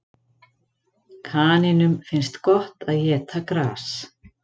Kanínum finnst gott að éta gras.